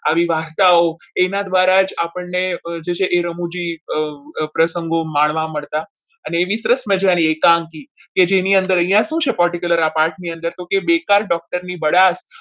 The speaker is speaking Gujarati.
આવી વાર્તાઓ એના દ્વારા જ આપણને છે એ રમુજી પ્રસંગો માણવા મળતા અને એવી સરસ મજાની એકાંકી કે જેની અંદર અહીંયા શું છે particular આ પાઠ ની અંદર તો કે બેકાર doctor ની બળાસ